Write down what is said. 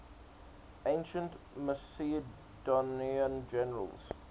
ancient macedonian generals